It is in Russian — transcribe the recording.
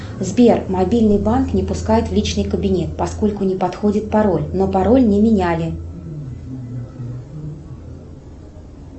сбер мобильный банк не пускает в личный кабинет поскольку не подходит пароль но пароль не меняли